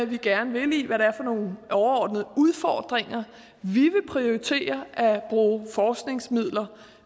vi gerne vil i hvad det er for nogle overordnede udfordringer vi vil prioritere at bruge forskningsmidler